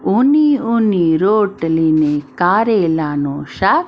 ઉની ઉની રોટલી ને કારેલું નું શાક.